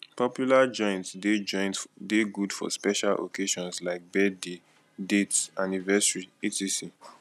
popular joint de joint de good for special occasions like birthday dates anniversiry etc